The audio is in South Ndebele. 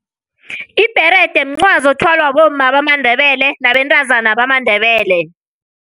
Ibherede mncwazi othwalwa bomma bamaNdebele nabentazana bamaNdebele.